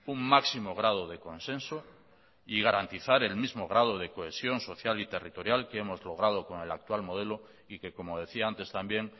un máximo grado de consenso y garantizar el mismo grado de cohesión social y territorial que hemos logrado con el actual modelo y que como decía antes también